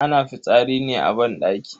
Ana fitsari ne a banɗaki.